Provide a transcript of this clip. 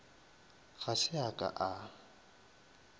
ga se a ka a